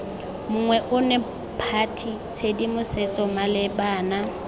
monngwe ono party tshedimosetso malebana